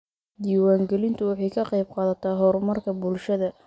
Diiwaangelintu waxay ka qaybqaadataa horumarka bulshada.